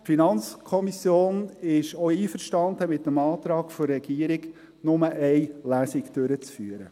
Die FiKo ist auch einverstanden mit dem Antrag der Regierung, nur eine Lesung durchzuführen.